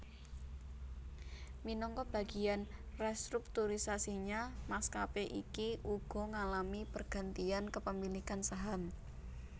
Minangka bagiyan restrukturisasinya maskapé iki uga ngalami pergantian kepemilikan saham